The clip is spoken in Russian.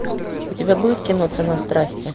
у тебя будет кино цена страсти